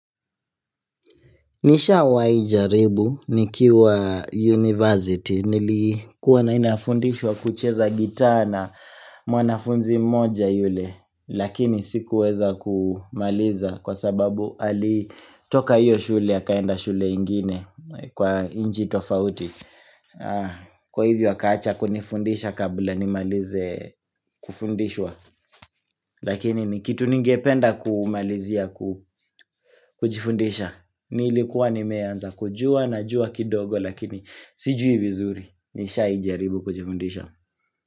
Nisha wa ijaribu nikiwa university nilikuwa na inafundishwa kucheza gita na mwanafunzi moja yule Lakini sikuweza kumaliza kwa sababu ali toka hiyo shule yakaenda shule ingine kwa nchi tofauti Kwa hivyo akaacha kunifundisha kabla nimalize kufundishwa Lakini nikitu ningependa kumalizia kujifundisha Nilikuwa ni meanza kujua na jua kidogo lakini sijui vizuri Nishaijaribu kujifundisha.